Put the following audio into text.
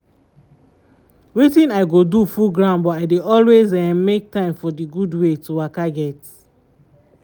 wetin i go do full ground but i dey eh always make time for d gud wey to waka get.